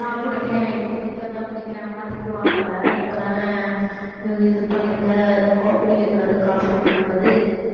தான் குடிக்கிறேன் இப்போதைக்கு அதுதான் குடிக்கிறேன் அம்மா திட்டுவாங்கல்ல இப்ப தானே இது பண்ணிருக்க குடிக்கக் கூடாது coffee குடிக்கக் கூடாது